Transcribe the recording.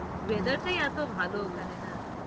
weather টাই এতো ভালো ওখানে না।